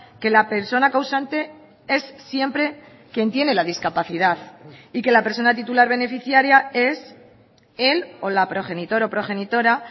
que la persona causante es siempre quien tiene la discapacidad y que la persona titular beneficiaria es el o la progenitor o progenitora